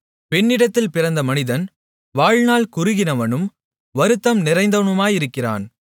பெண்ணிடத்தில் பிறந்த மனிதன் வாழ்நாள் குறுகினவனும் வருத்தம் நிறைந்தவனுமாயிருக்கிறான்